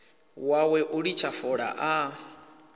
wawe u litsha fola a